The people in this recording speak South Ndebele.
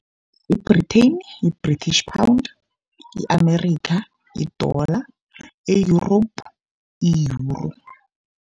Ye-Britain yi-British Pound, i-Amerikha yi-dollar, e-Europe i-Euro.